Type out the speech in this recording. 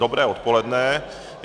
Dobré odpoledne.